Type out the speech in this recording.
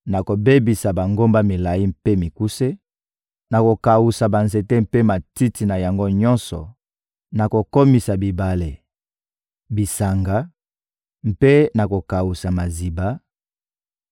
Nakobebisa bangomba milayi mpe mikuse, nakokawusa banzete mpe matiti na yango nyonso, nakokomisa bibale, bisanga, mpe nakokawusa maziba;